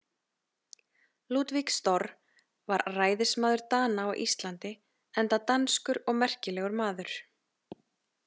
Ludvig Storr var ræðismaður Dana á Íslandi enda danskur og merkilegur maður.